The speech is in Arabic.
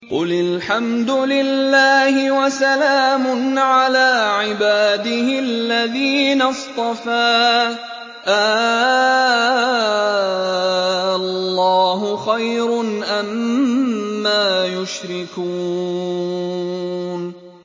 قُلِ الْحَمْدُ لِلَّهِ وَسَلَامٌ عَلَىٰ عِبَادِهِ الَّذِينَ اصْطَفَىٰ ۗ آللَّهُ خَيْرٌ أَمَّا يُشْرِكُونَ